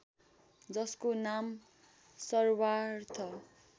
जसको नाम सर्वार्थ